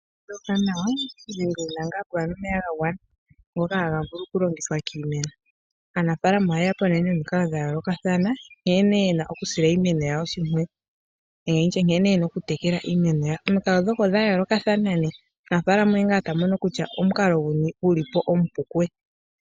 Ngoka hagavulu oku longithwa kiimeno .Aanafaalama oyeyapo nee nomikalo dha yoolokathana nkene yena okusila iimeno yawo oshimpwiyu nenge nkene tena oku tekela iimenoyawo. Omikalo ndhoka odha yoolokathana omunafaalama oye ngaa yamono kutya omukalo guni omupu kuye.